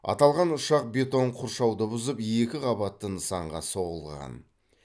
аталған ұшақ бетон қоршауды бұзып екі қабатты нысанға соғылған